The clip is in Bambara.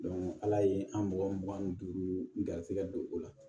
ala ye an mɔgɔ mugan ni duuru garisigɛ don o la